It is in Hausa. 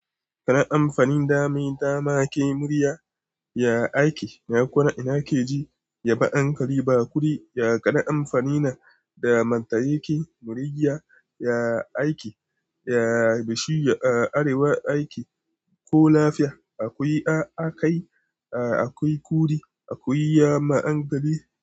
Kana amfanin dama dama ke murya ya ake. Na kora ina ke ji ya ba ankari ba kudi ya kana amfanina da mantayaki murigya ya ake ya bishiya a arewa ake ko lafiya akwai a akai a akwai kudi akwai yama ankari.